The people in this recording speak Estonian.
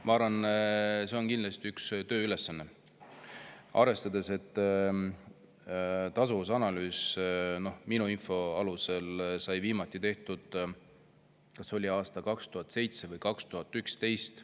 Ma arvan, et see on kindlasti üks tööülesanne, arvestades, et tasuvusanalüüs sai minu info alusel viimati tehtud kas aastal 2007 või 2011.